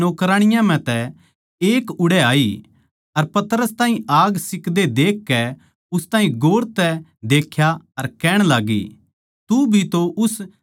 अर पतरस ताहीं आग सिक्दे देखकै उस ताहीं गौर तै देख्या अर कहण लाग्गी तू भी तो उस नासरत के यीशु कै गेल्या था